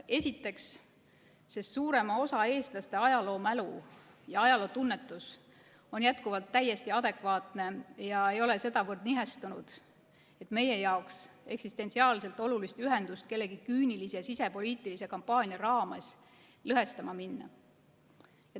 Esiteks, sest suurema osa eestlaste ajaloomälu ja ajalootunnetus on jätkuvalt täiesti adekvaatne ega ole sedavõrd nihestanud, et meie jaoks eksistentsiaalselt olulist ühendust kellegi küünilise ja sisepoliitilise kampaania raames lõhestama minna.